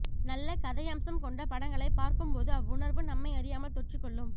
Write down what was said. நல்ல கதையம்சம் கொண்ட படங்களைப் பார்க்கும் போது அவ்வுணர்வு நம்மை அறியாமல் தொற்றிக் கொள்ளும்